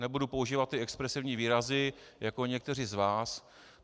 Nebudu používat ty expresivní výrazy jako někteří z vás.